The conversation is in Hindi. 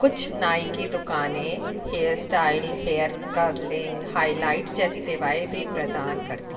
कुछ नाई की दुकानें hair style hair curling highlights जैसी सेवाएं भी प्रदान करती --